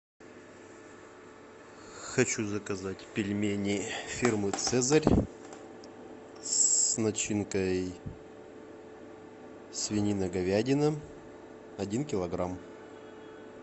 хочу заказать пельмени фирмы цезарь с начинкой свинина говядина один килограмм